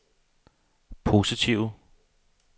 positive